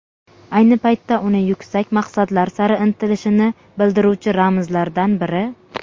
ayni paytda uni yuksak maqsadlar sari intilishini bildiruvchi ramzlardan biri.